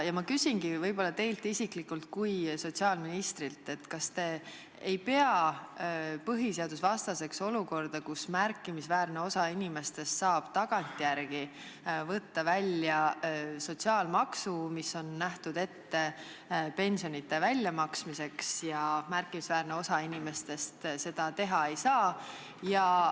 Ma küsingi teilt kui sotsiaalministrilt, kas te ei pea põhiseadusvastaseks olukorda, kus märkimisväärne osa inimestest saab tagantjärele võtta välja sotsiaalmaksu, mis on ette nähtud pensionite väljamaksmiseks, ja märkimisväärne osa inimestest seda teha ei saa.